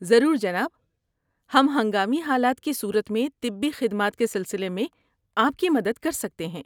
ضرور، جناب۔ ہم ہنگامی حالات کی صورت میں طبی خدمات کے سلسلے میں آپ کی مدد کر سکتے ہیں۔